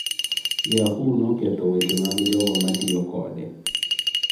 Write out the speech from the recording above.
Yahoo noketho weche mag jogo matiyo kode